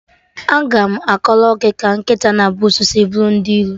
Aga m akọrọ gị ka nkịta na busuu si buru ndị iro